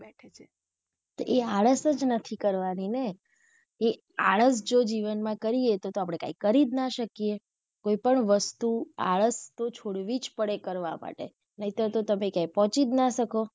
તો એ આળસ જ નથી કરવાની ને એ આળસ જો આપડે જીવનમાં કરીયે તો આપડે કઈ કરીજ ના શકીયે, કોઈ પણ વસ્તુ આળસ તો છોડવી જ પડે કરવા માટે નહીંતર તો તમે ક્યાંએ પોંહચી જ ના શકો.